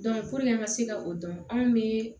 an ka se ka o dɔn anw bɛ